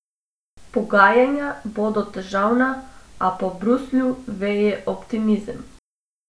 Pogajanja bodo težavna, a po Bruslju veje optimizem.